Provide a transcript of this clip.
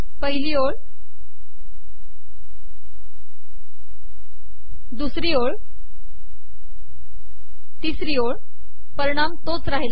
पिहली ओळ दुसरी ओळ ितसरी ओळ पिरणाम तोच राहील